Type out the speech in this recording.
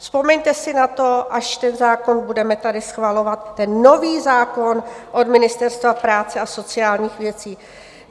Vzpomeňte si na to, až ten zákon budeme tady schvalovat, ten nový zákon od Ministerstva práce a sociálních věcí.